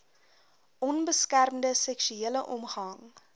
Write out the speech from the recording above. onbeskermde seksuele omgang